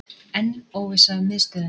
Enn óvissa um miðstöðina